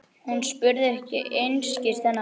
Hún spurði einskis þennan daginn.